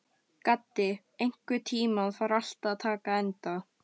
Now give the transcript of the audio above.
Gaddi, einhvern tímann þarf allt að taka enda.